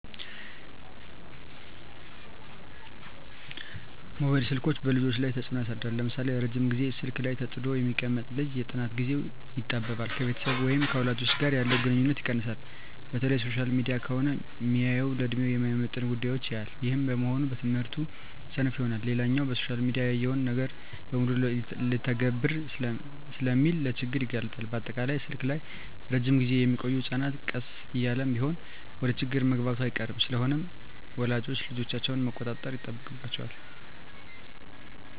መባይል ስልኮች በልጆች ላይ ተጽኖ ያሳድራል ለምሳሌ:- ረጅም ግዜ ስልክ ላይ ተጥዶ የሚቀመጥ ልጅ የጥናት ግዜው ይጣበባል፣ ከቤተሰብ ወይም ከወላጅ ጋር ያለው ግንኙነት ይቀንሳል፣ በተለይ ሶሻል ሚዲያ ከሆነ ሚያየው ለድሜው የማይመጥን ጉዳዮች ያያል ይህም በመሆኑ በትምህርቱ ሰነፍ ይሆናል። ሌላኛው በሶሻል ሚዲያ ያየውን ነገር በሙሉ ልተግብር ስለሚል ለችግር ይጋለጣል፣ በአጠቃላይ ስልክ ላይ እረጅም ግዜ ሚቆዮ ህጸናት ቀስ እያለም ቢሆን ወደችግር መግባቱ አይቀርም። ስለሆነም ወላጆች ልጆቻቸውን መቆጣጠር ይጠበቅባቸዋል